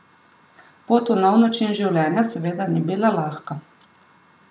Pot v nov način življenja seveda ni bila lahka.